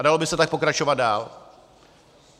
A dalo by se tak pokračovat dál.